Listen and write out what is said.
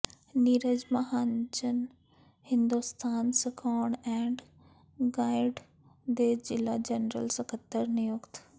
Neeraj Mahajan Hindustan scout and guide ਦੇ ਜ਼ਿਲ੍ਹਾ general ਸੱਕਤਰ ਨਿਯੁਕਤ